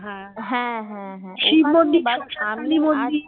হ্যাঁ হ্যাঁ হ্যাঁ হ্যাঁ